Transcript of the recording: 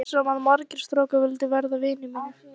Ég er viss um að margir strákar vildu verða vinir þínir.